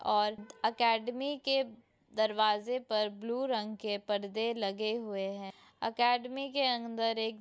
और एकेडमी के दरवाजे पर ब्लू रंग के परदे लगे हुए हैं एकेडमी के अंदर एक --